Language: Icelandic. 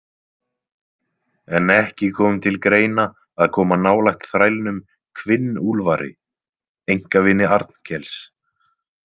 En ekki kom til greina að koma nálægt þrælnum Hvinn- Úlfari, einkavini Arnkels.